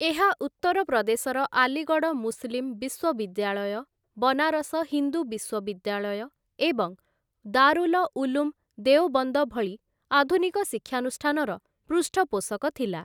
ଏହା ଉତ୍ତର ପ୍ରଦେଶର ଆଲିଗଡ଼ ମୁସଲିମ ବିଶ୍ୱବିଦ୍ୟାଳୟ, ବନାରସ ହିନ୍ଦୁ ବିଶ୍ୱବିଦ୍ୟାଳୟ, ଏବଂ ଦାରୁଲ ଉଲୂମ ଦେଓବନ୍ଦ ଭଳି ଆଧୁନିକ ଶିକ୍ଷାନୁଷ୍ଠାନର ପୃଷ୍ଠପୋଷକ ଥିଲା ।